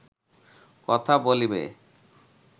কথা বলিবে